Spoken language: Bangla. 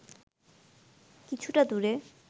কিছুটা দূরে